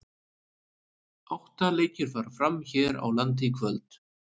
Átta leikir fara fram hér á landi í kvöld.